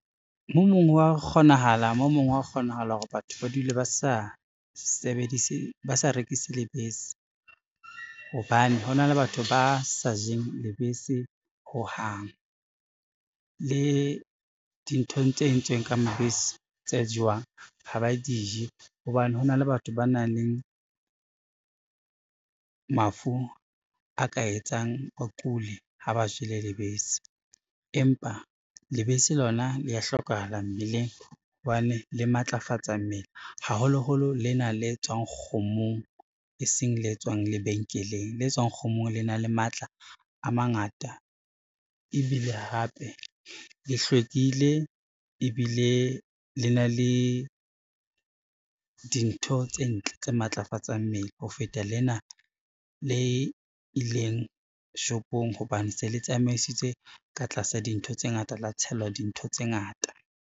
Mo mong hwa kgonahala, mo mong hwa kgonahala hore batho ba dule , ba sa rekise lebese, hobane hona le batho ba sa jeng lebese ho hang. Le dinthong tse entsweng ka mabese tse jewang ha ba di je, hobane hona le batho ba nang le mafu a ka etsang ba kule ha ba jele lebese, empa lebese lona le ya hlokahala mmeleng hobane le matlafatsa mmele haholoholo lena le tswang kgomong e seng le tswang lebenkeleng. Le tswang kgomong le na le matla a mangata ebile hape le hlwekile ebile le na le dintho tse ntle tse matlafatsang mmele ho feta lena le ileng shopong hobane se le tsamaisitswe ka tlasa dintho tse ngata, la tshelwa dintho tse ngata.